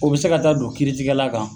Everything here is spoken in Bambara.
O bi se ka taa don kiritigɛla kan